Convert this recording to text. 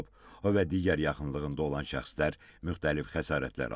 O və digər yaxınlığında olan şəxslər müxtəlif xəsarətlər alıb.